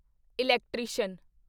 electrician